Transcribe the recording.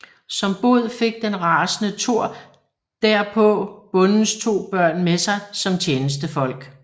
Som bod fik den rasende Thor derpå bondens to børn med sig som tjenestefolk